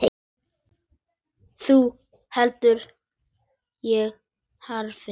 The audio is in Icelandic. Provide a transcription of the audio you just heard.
Þá held ég áfram.